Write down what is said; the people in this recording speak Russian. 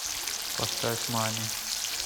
поставь мани